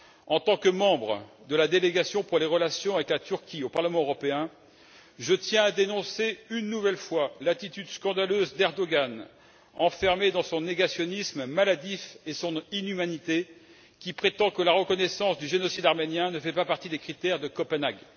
En tant que membre de la délégation à la commission parlementaire mixte UE Turquie au Parlement européen, je tiens à dénoncer, une nouvelle fois, l'attitude scandaleuse de M. Erdoğan, enfermé dans son négationnisme maladif et son inhumanité, qui prétend que la reconnaissance du génocide arménien ne fait pas partie des critères de Copenhague.